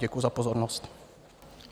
Děkuji za pozornost.